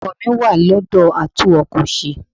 Ọkọ̀ mi wà lọ́dọ̀ a tún ọkọ ṣe.